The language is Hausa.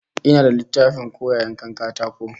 Ina da littafin koya yanka katako